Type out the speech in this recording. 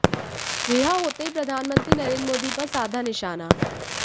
रिहा होते ही प्रधानमंत्री नरेंद्र मोदी पर साधा निशाना